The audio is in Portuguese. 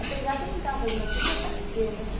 Apesar que eu não estava fazendo aquilo para aparecer, né?